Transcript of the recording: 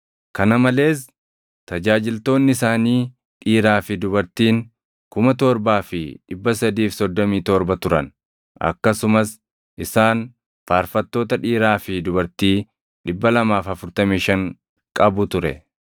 kana malees tajaajiltoonni isaanii dhiiraa fi dubartiin 7,337 turan; akkasumas isaan faarfattoota dhiiraa fi dubartii 245 qabu ture.